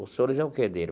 Os senhores é o que dele?